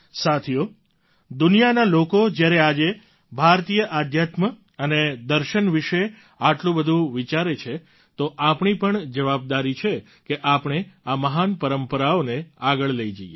સાથીઓ દુનિયાના લોકો જ્યારે આજે ભારતીય અધ્યાત્મ અને દર્શન વિશે આટલું બધું વિચારે છે તો આપણી પણ જવાબદારી છે કે આપણે આ મહાન પરંપરાઓને આગળ લઈ જઈએ